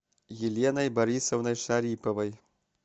еленой борисовной шариповой